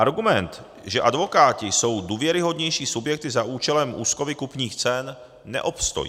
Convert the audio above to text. Argument, že advokáti jsou důvěryhodnější subjekty za účelem úschovy kupních cen, neobstojí.